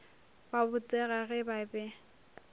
ba botega ge ba be